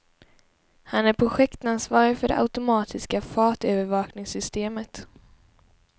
Han är projektansvarig för det automatiska fartövervakningssystemet.